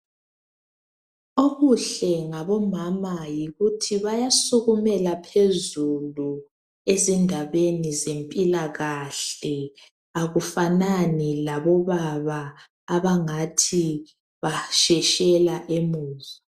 Okuhle ngabomama yikuthi basukumela phezulu ezindabeni zempilakahle, akufanani labobaba abangathi basheshela emuva.